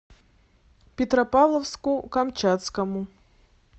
петропавловску камчатскому